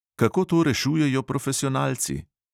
Kako to rešujejo profesionalci?